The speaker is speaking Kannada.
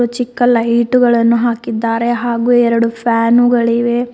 ಚಿಕ್ಕ ಲೈಟುಗಳನ್ನು ಹಾಕಿದ್ದಾರೆ ಹಾಗು ಎರಡು ಫ್ಯಾನುಗಳಿವೆ.